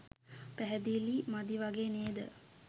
පැහැදිලි මදි වගේ නේද?